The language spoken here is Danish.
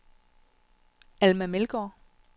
Alma Meldgaard